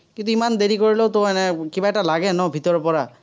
কিন্তু, ইমান দেৰি কৰিলেওতো এনে কিবা এটা লাগে ন ভিতৰৰ পৰা।